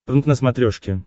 прнк на смотрешке